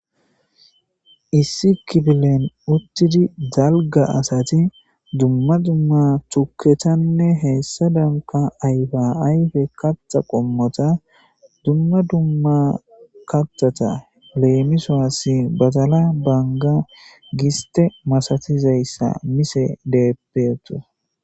issi kibilen uttidi dalga asati dumma dumma tuketanne heessa danka ayfa ayfe katta qommota dumma dumma kattata leemisoassi bazala baanga giste masatizayssa mise deeppeetu